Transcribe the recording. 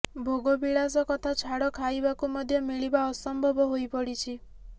ଭୋଗବିଳାସ କଥା ଛାଡ ଖାଇବାକୁ ମଧ୍ୟ ମିଳିବା ଅସମ୍ଭବ ହୋଇପଡିଛି